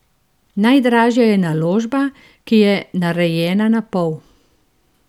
Najdražja je naložba, ki je narejena napol.